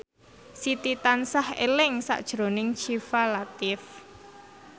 Siti tansah eling sakjroning Syifa Latief